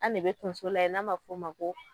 An de bɛ tonso layɛ n'a ma fɔ ma ko.